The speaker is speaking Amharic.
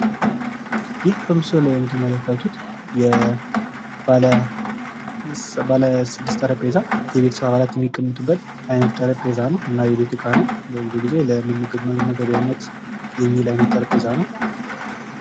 ይህ በምስሉ ላይ የምትመለከቱት ባለስድስት ጠረጴዛ ፤ የቤተሰብ አባላት የሚቀጡበት አይነት እቃ ነው ፤ ብዙ ጊዜ ምግብ የሚመገቡበት አይነት ጠረጴዛ ነው።